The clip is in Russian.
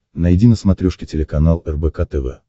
найди на смотрешке телеканал рбк тв